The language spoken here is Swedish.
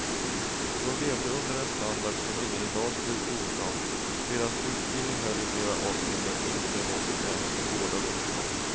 De levde under en standard som ingen i dag skulle godta; deras utbildning höll i flera avseenden inte måttet ens med gårdagens krav.